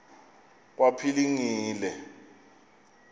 kwaphilingile